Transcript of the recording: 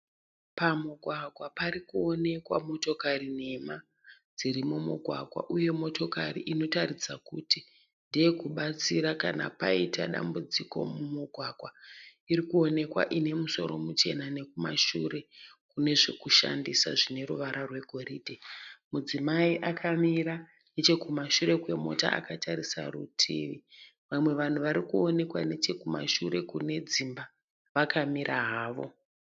Pamugwagwa pari kuonekwa motokari nhema dziri mumugwagwa. Uye motokari inotaridza kuti ndeye kubatsira kana paita dambudziko mumugwagwa iri kuonekwa ine musoro muchena nekumashure kune zvekushandisa zvine ruvara rwegoridhe. Mudzimai akamira nechekumashure kwemota akatarisa kurutivi. Vamwe vanhu vari kuonekwa nechekumashure kune dzimba vakamira havo.